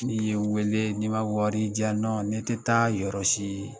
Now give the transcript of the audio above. N'i ye n wele n'i ma wari di yan nɔ ne tɛ taa yɔrɔ si